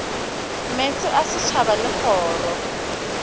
meetse a setšhaba le kgoro